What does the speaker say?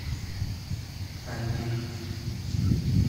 танир